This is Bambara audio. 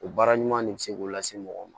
O baara ɲuman de bɛ se k'o lase mɔgɔ ma